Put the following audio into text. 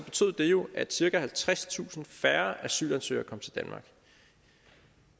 det jo at cirka halvtredstusind færre asylansøgere kom til danmark